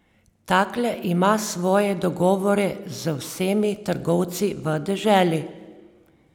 Takle ima svoje dogovore z vsemi trgovci v deželi.